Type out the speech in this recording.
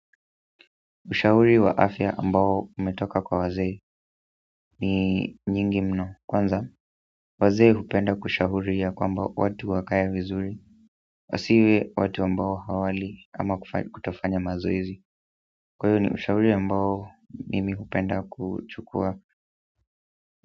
Ushauri wa afya ambao umetoka kwa wazee ni nyingi mno. Kwanza, wazee hupenda kushauri ya kwamba watu wakae vizuri. Wasiwe watu ambao hawali ama kutofanya mazoezi. Kwa hiyo ni ushauri ambao mimi hupenda kuchukua.